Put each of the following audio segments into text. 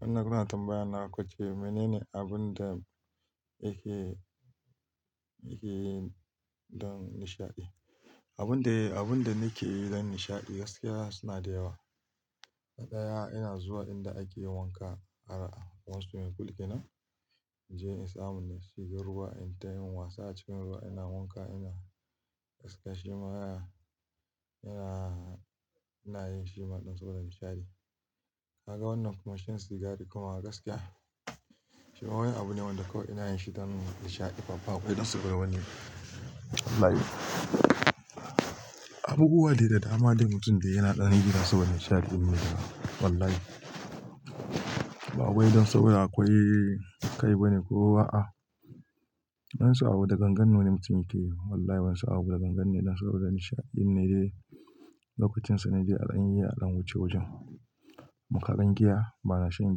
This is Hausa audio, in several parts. Wannan kuna tambayana kuce menene abun da yake, yake yi don nishaɗi. Abun da, abun da nake yi don nishaɗi gaskiya suna da yawa. Na ɗaya ina zuwa inda ake wanka har a wasu lokuta ina je in samu in shiga ruwa in tayi wasa a cikin ruwa ina wanka ina gaskashi maraya. Ina, ina yin shima don saboda nishaɗi. Na ga wannan kuma shan sigari kuma gaskiya shima wani abu ne wanda kawai ina yin shi don nishaɗi. Ba babu wani saboda wani abu. Wallahi. Abubuwa dai da dama dai mutum da yana ɗani yana saboda nishaɗi ne. Wallahi. Ba wai don saboda akwai kai bane ko wa'a. Wani sa'a wuta gangan nono mutum yake yi. Wallahi wani sa'a wuta gangan ne don saboda nishaɗi ne lokutinsa ne zai an yi al'amuce wajen. Mu karan giya bana shan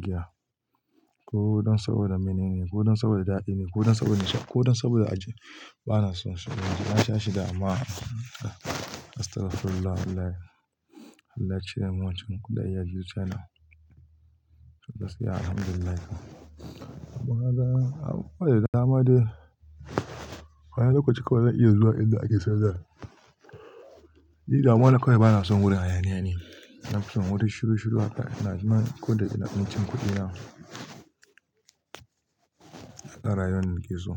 giya. Ko don saboda menene ko don saboda daɗi ne ko don saboda nishaɗi ko don saboda aji. Bana son shi. Na sha shi da amma astagfirullah wallahi. Wallahi cire min wancan kuɗin ya juya na. Gaskiya alhamdulillah. Abu kowa dai da dama dai. Kowane lokaci kawai zan iya zuwa inda ake sayar da. Ni damuwa na kawai bana son wuri hayaniya ne. Ina son wurin shiru shiru haka. Ina zama kawai da ina cin kuɗina. A rayuwar da nake so.